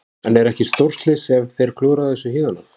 En er ekki stórslys ef þeir klúðra þessu héðan af?